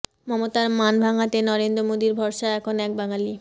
মমতার মান ভাঙাতে নরেন্দ্র মোদীর ভরসা এখন এক বাঙালি